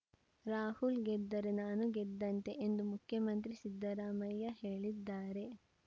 ರಾಹುಲ್‌ ಗೆದ್ದರೆ ನಾನು ಗೆದ್ದಂತೆ ಎಂದು ಮುಖ್ಯಮಂತ್ರಿ ಸಿದ್ದರಾಮಯ್ಯ ಹೇಳಿದ್ದಾರೆ